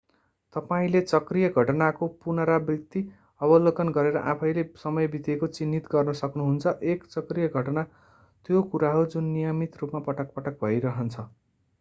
तपाईंले चक्रीय घटनाको पुनरावृत्ति अवलोकन गरेर आफैंँले समय बितेको चिन्हित गर्न सक्नुहुन्छ एक चक्रीय घटना त्यो कुरा हो जुन नियमित रूपमा पटक-पटक भइरहन्छ